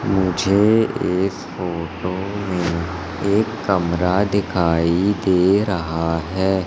मुझे एक फोटो में एक कमरा दिखाई दे रहा है।